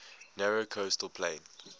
narrow coastal plain